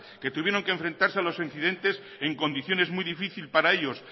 que tuvieron que enfrentarse a los incidentes en condiciones muy difícil para ellos